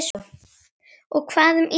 Og hvað um Ísland?